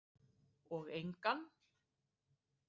Og engan.